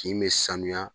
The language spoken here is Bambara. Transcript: Kin bɛ sanuya